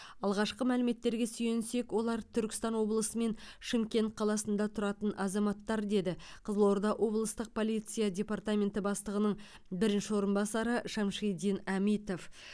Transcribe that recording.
алғашқы мәліметтерге сүйенсек олар түркістан облысы мен шымкент қаласында тұратын азаматтар деді қызылорда облыстық полиция департаменті бастығының бірінші орынбасары шамшидин әмитов